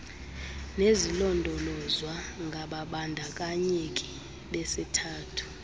nezilondolozwa ngababandakanyeki besithathu